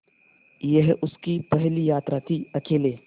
यह उसकी पहली यात्रा थीअकेले